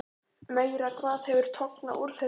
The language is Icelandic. Meira hvað hefur tognað úr þér, drengur!